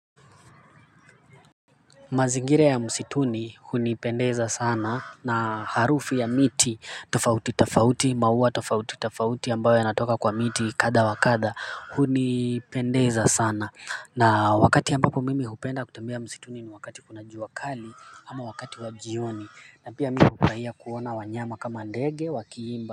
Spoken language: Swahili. Mazingira ya msituni hunipendeza sana na harufu ya miti tofauti tafauti maua tofauti tofauti ambayo yanatoka kwa miti kadha wa kadha hunipendeza sana na wakati ambapo mimi hupenda kutembea msituni ni wakati kuna jua kali ama wakati wa jioni na pia mimi hufurahia kuona wanyama kama ndege wakiimba.